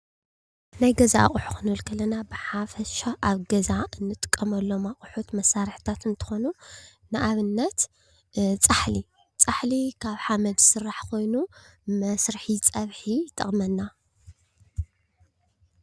ናይ ገዛ ኣቁሑ ኽንብል ከለና ብሓፈሻ ኣብ ገዛ ንጥቀመሎም ኣቁሑት መሳርሕታት እንትኾኑ። ንኣብነት ፃሓሊ ፃሕሊ ካብ ሓመድ ዝስራሕ ኾይኑ መስርሒ ፀብሒ ይጠቅመና።